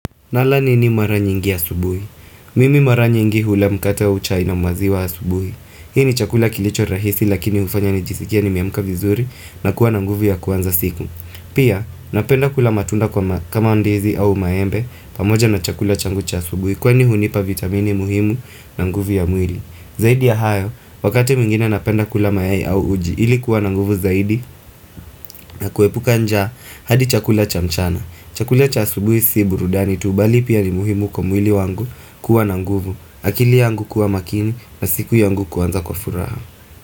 Nala nini mara nyingi asubuhi. Mimi mara nyingi hula mkate au chai na maziwa asubuhi. Hii ni chakula kilicho rahisi lakini ufanya nijisikie nimeamka vizuri na kuwa na nguvu ya kuanza siku. Pia napenda kula matunda kwa kama ndizi au maembe pamoja na chakula changu cha subuhi kwa ni hunipa vitamini muhimu na nguvu ya mwili. Zaidi ya hayo wakati mwingine napenda kula mayai au uji ilikuwa na nguvu zaidi na kuepuka njaa hadi chakula cha mchana. Chakulia cha asubuhi si burudani tu bali pia ni muhimu kwa mwili wangu kuwa na nguvu akili yangu kuwa makini na siku yangu kuanza kwa furaha.